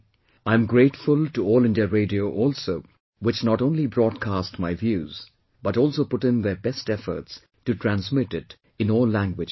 I am grateful to All India Radio also which not only broadcast my views but also put in their best efforts to transmit it in all languages